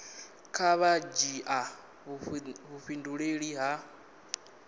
kha vha dzhia vhudifhinduleli ha